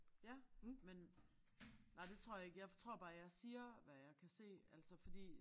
Ja men nej det tror jeg ikke jeg tror bare jeg siger hvad jeg kan se altså fordi